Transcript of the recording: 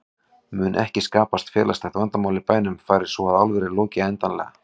Mun ekki skapast félagslegt vandamál í bænum fari svo að álverið loki endanlega?